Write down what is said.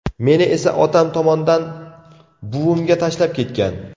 Meni esa otam tomondan buvimga tashlab ketgan.